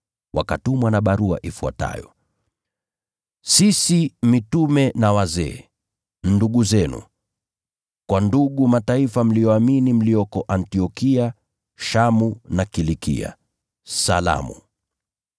Wakatumwa na barua ifuatayo: Sisi mitume na wazee, ndugu zenu, Kwa ndugu Mataifa mlioamini mlioko Antiokia, Shamu na Kilikia: Salamu.